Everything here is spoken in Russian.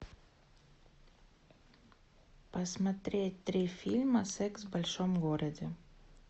посмотреть три фильма секс в большом городе